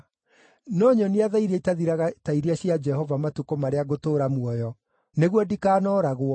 No nyonia tha iria itathiraga ta iria cia Jehova matukũ marĩa ngũtũũra muoyo, nĩguo ndikanooragwo,